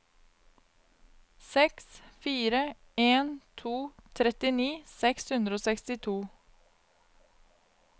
seks fire en to trettini seks hundre og sekstito